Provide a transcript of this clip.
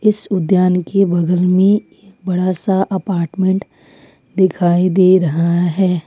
इस उद्यान के बगल में बड़ा सा अपार्टमैंट दिखाई दे रहा है।